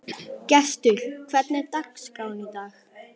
Gestur, hvernig er dagskráin í dag?